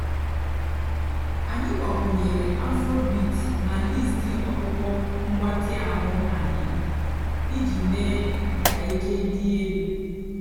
ányị́ gbakwùnyèré afróbeat nà lístì ọ̀kpụ́kpọ́ m̀gbàtị́ àhú́ ànyị́ ìjì méé kà íke dị́ èlú.